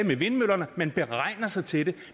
med vindmøllerne man beregner sig til det